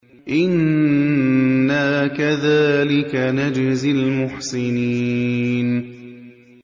إِنَّا كَذَٰلِكَ نَجْزِي الْمُحْسِنِينَ